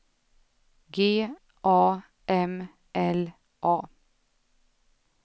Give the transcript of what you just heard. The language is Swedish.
G A M L A